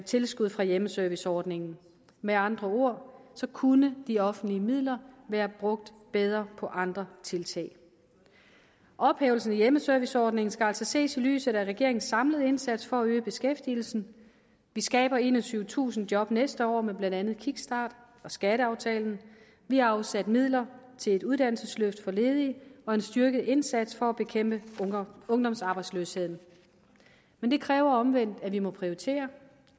tilskud fra hjemmeserviceordningen med andre ord kunne de offentlige midler være brugt bedre på andre tiltag ophævelsen af hjemmeserviceordningen skal altså ses i lyset af regeringens samlede indsats for at øge beskæftigelsen vi skaber enogtyvetusind job næste år med blandt andet kickstarten og skatteaftalen vi har afsat midler til et uddannelsesløft for ledige og en styrket indsats for at bekæmpe ungdomsarbejdsløsheden men det kræver omvendt at vi må prioritere